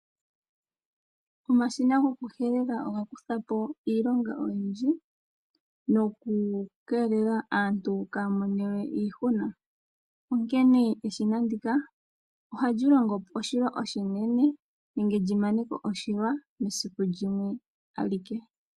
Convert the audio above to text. Omashina gokuhelela oga kuthapo iilonga oyindji nokeelela aantu kaaya monewe iihuna , onkene eshina ndika ohali longo oshilonga oshinene nenge limaneko oshilwa mesiku limwe alike.